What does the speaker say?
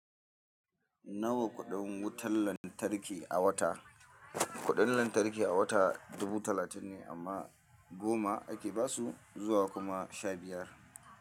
Nawa kuɗin wutar lantarki a wata? Kuɗin lantarki a wata dubu talatin ne amma goma ake basu zuwa kuma sha biyar.